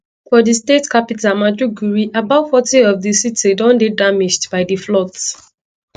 for di state capital maiduguri about forty of di city don dey damaged by di floods